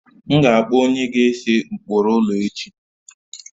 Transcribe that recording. M ga akpọ onye na-ese ụkpụrụ ụlọ echi